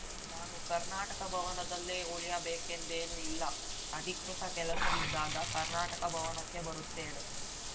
ನಾನು ಕರ್ನಾಟಕ ಭವನದಲ್ಲೇ ಉಳಿಯಬೇಕೆಂದೇನೂ ಇಲ್ಲ ಅಧಿಕೃತ ಕೆಲಸವಿದ್ದಾಗ ಕರ್ನಾಟಕ ಭವನಕ್ಕೆ ಬರುತ್ತೇನೆ